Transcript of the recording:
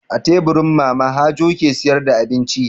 A teburi Mama Hajo ke sayar da abinci.